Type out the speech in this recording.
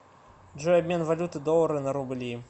джой обмен валюты доллары на рубли